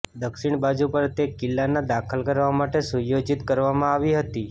દક્ષિણ બાજુ પર તે કિલ્લાના દાખલ કરવા માટે સુયોજિત કરવામાં આવી હતી